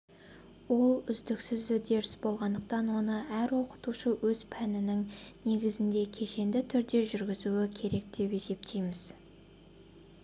ол үздіксіз үдеріс болғандықтан оны әр оқытушы өз пәнінің негізінде кешенді түрде жүргізуі керек деп есептейміз